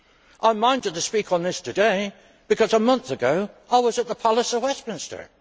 I am minded to speak on this today because a month ago, I was at the Palace of Westminster.